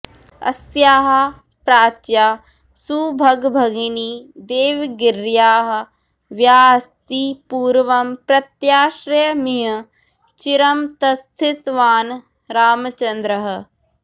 अस्याः प्राच्या सुभगभगिनी देवगिर्याह्वयास्ति पूर्वं प्रत्याश्रयमिह चिरं तस्थिवान् रामचन्द्रः